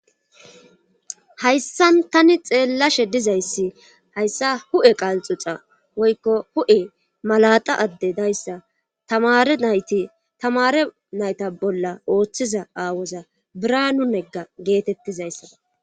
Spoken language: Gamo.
hayssan tani xeellashe dizayssi hayssa hu7e qalxuca woykko hu7e malaxa adde dayssa tamare nayti tamare nayta bolla ooththiza aawoza biranu negga geetettizayssana